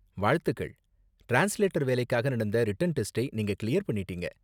வாழ்த்துக்கள்! டிரான்ஸ்லேட்டர் வேலைக்காக நடந்த ரிட்டன் டெஸ்டை நீங்க கிளியர் பண்ணிடீங்க.